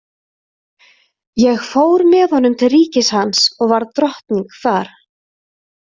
Ég fór með honum til ríkis hans og varð drottning þar.